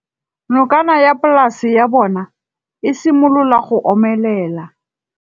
Nokana ya polase ya bona, e simolola go omelela.